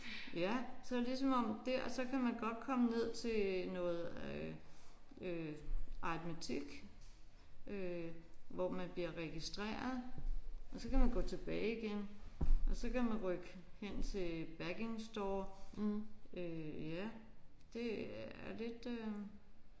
Ja som det som om dér så kan man godt komme ned til noget øh øh aritmetik øh hvor man bliver registreret og så kan man gå tilbage igen og så kan man gå hen til backing store øh ja det er lidt øh